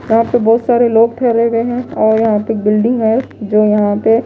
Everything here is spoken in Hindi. यहां पे बहोत सारे लोग ठहरे हुए हैं और यहां पे एक बिल्डिंग है जो यहां पे--